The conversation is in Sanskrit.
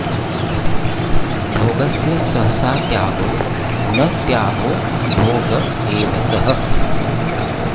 भोगस्य सहसा त्यागो न त्यागो भोग एव सः